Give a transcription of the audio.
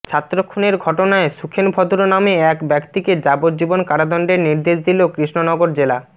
ছাত্র খুনের ঘটনায় সুখেন ভদ্র নামে এক ব্যক্তিকে যাবজ্জীবন কারাদণ্ডের নির্দেশ দিল কৃষ্ণনগর জেলা